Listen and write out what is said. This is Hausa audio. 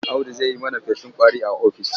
Audu zai yi mana feshin ƙwari a ofis.